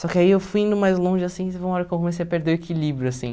Só que aí eu fui indo mais longe, assim, teve uma hora eu comecei a perder o equilíbrio, assim.